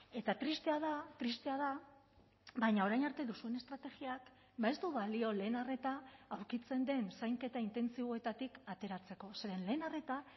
eta tristea da tristea da baina orain arte duzuen estrategiak ez du balio lehen arreta aurkitzen den zainketa intentsiboetatik ateratzeko zeren lehen arreta